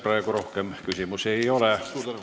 Praegu rohkem küsimusi ei ole.